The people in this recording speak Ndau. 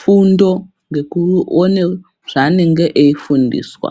fundo ngekuone zvanenge eifundiswa.